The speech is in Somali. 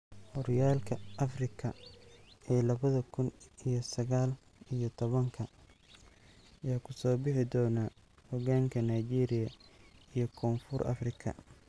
Xooryalka afrika ee labada kuun iyo sagaal iyo tobanka: Yaa ku soo bixi doona hogaanka Nigeria iyo koonfur afrika.